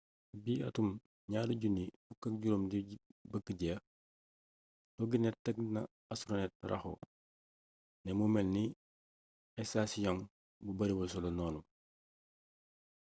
ci bi atum 2015 di bëgga jeex toginet teg na astronet rajo ne mu melni estasiyong bu bariwul solo noonu